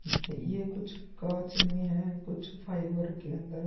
ये ये कुछ कांच में है कुछ फाइबर के अंदर --